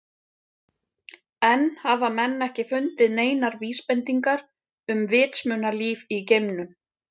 Enn hafa menn ekki fundið neinar vísbendingar um vitsmunalíf í geimnum.